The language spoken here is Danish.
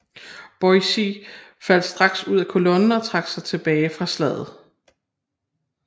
Boise faldt straks ud af kolonnen og trak sig tilbage fra slaget